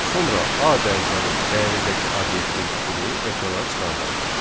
Sonra A dəyişənin dəyərindəki obyektin tipini ekrana çıxardaq.